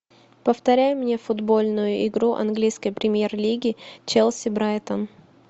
повторяй мне футбольную игру английской премьер лиги челси брайтон